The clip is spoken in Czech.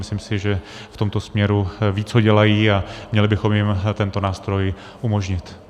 Myslím si, že v tomto směru vědí, co dělají, a měli bychom jim tento nástroj umožnit.